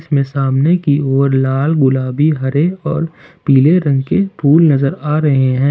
इसमें सामने की ओर लाल गुलाबी हरे और पीले रंग के फूल नजर आ रहे हैं।